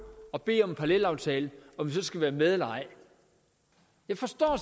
og bede om en parallelaftale skal være med eller ej jeg forstår